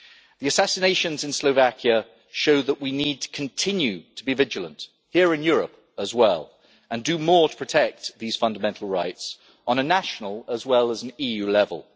The assassinations in Slovakia show that we need to continue to be vigilant, including in Europe, and do more to protect these fundamental rights on a national as well as an EU level.